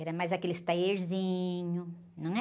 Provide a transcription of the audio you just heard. Era mais aqueles taierzinhos, não é?